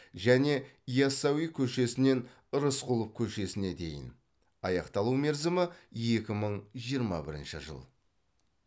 және яссауи көшесінен рысқұлов көшесіне дейін аяқталу мерзімі екі мың жиырма бірінші жыл